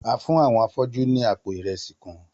A fún àwọn afọ́jú ní àpò ìrẹsì kan.